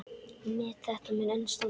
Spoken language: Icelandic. Met þetta mun enn standa.